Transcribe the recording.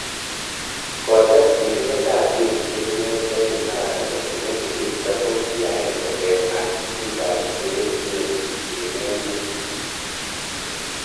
Kotes Tilindet ap kesishek neo David Maraga kole nekisirto ko ki aenge eng ap pik ap che echen ing emet.